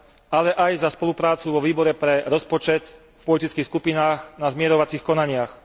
ale aj za spoluprácu vo Výbore pre rozpočet, v politických skupinách, na zmierovacích konaniach.